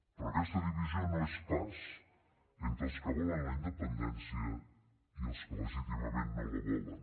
però aquesta divisió no és pas entre els que volen la independència i els que legítimament no la volen